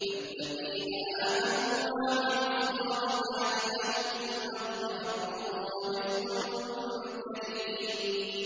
فَالَّذِينَ آمَنُوا وَعَمِلُوا الصَّالِحَاتِ لَهُم مَّغْفِرَةٌ وَرِزْقٌ كَرِيمٌ